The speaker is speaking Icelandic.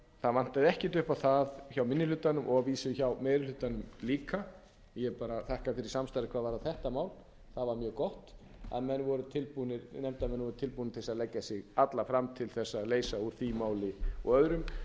það vantaði ekkert upp á það hjá minni hlutanum og að vísu hjá meiri hlutanum líka ég bara þakka fyrir samstarfið hvað varðar þetta mál það var mjög gott að nefndarmenn voru tilbúnir til þess að leggja sig alla fram til þess að leysa úr því máli og öðrum